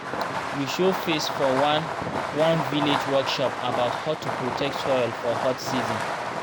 we show face for one one village workshop about how to protect soil for hot season